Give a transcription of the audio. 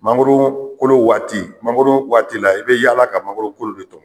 Mangoro kolo waati mangoro waati la i bɛ yala ka mangoro kolo de tɔmɔ.